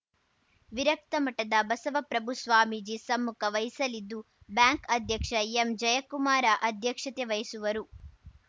ವಿರಕ್ತ ಮಠದ ಬಸವಪ್ರಭು ಸ್ವಾಮೀಜಿ ಸಮ್ಮುಖ ವಹಿಸಲಿದ್ದು ಬ್ಯಾಂಕ್‌ ಅಧ್ಯಕ್ಷ ಎಂಜಯಕುಮಾರ ಅಧ್ಯಕ್ಷತೆ ವಹಿಸುವರು